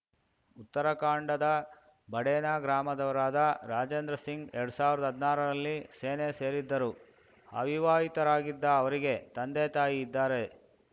ಉತ್ತರಾಖಂಡದ ಬಡೇನಾ ಗ್ರಾಮದವರಾದ ರಾಜೇಂದ್ರ ಸಿಂಗ್‌ ಎರಡ್ ಸಾವ್ರ್ದಾಹದ್ನಾರರಲ್ಲಿ ಸೇನೆ ಸೇರಿದ್ದರು ಅವಿವಾಹಿತರಾಗಿದ್ದ ಅವರಿಗೆ ತಂದೆತಾಯಿ ಇದ್ದಾರೆ